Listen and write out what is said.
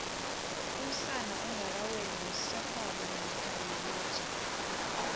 umsana ongakaweli msegwabo namkha yilija